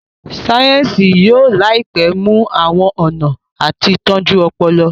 sáyẹnsì yóò láìpé mú àwọn ọnà àti tọjú Ọpọlọ.